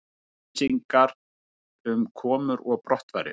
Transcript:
Upplýsingar um komur og brottfarir